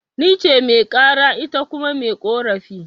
Nice Mai karan, ita kuma mai ƙorafi